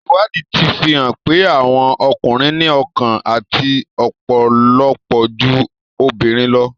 Ìwádìí ti fi hàn pé, àwọn ọkùnrin ní ọkàn àti ọpọlọpọ ju obìnrin lọ.